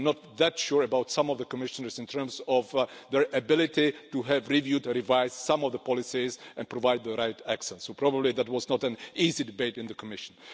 I'm not that sure about some of the Commissioners in terms of their ability to have reviewed and revised some of the policies and provided the right accent, so that was probably not an easy debate in the Commission.